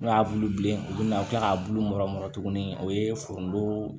N'o y'a bulu bilen u bɛna u bi kila k'a bulu mɔrɔ mɔrɔgɔ tuguni o ye foronto